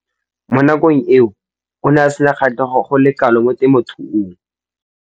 Mo nakong eo o ne a sena kgatlhego go le kalo mo temothuong.